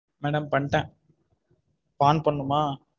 Madam பண்ட்டேன் இப்போ on பண்ணனும்மா?